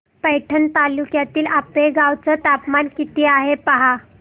पैठण तालुक्यातील आपेगाव चं तापमान किती आहे पहा